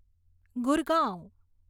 Gurgaon